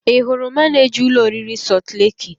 Ị hụrụ manịja ụlọ oriri Sọlt leki?